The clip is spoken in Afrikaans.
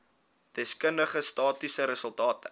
deskundige statistiese resultate